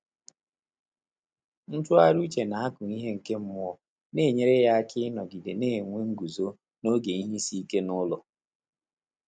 Ntụ́ghàrị́ úchè nà ákụ́ íhé nké mmụ́ọ́ nà-ényéré yá áká ị́nọ́gídé nà-ènwé ngụ́zó n’ógè ìhè ísí íké n’ụ́lọ́.